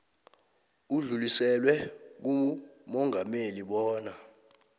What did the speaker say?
udluliselwe kumongameli bona